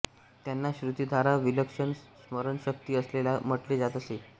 त्यांना श्रुतिधारा विलक्षण स्मरणशक्ती असलेला म्हटले जात असे